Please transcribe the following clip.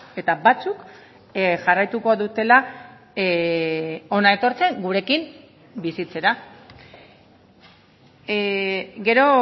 eta batzuk jarraituko dutela hona etortzen gurekin bizitzera gero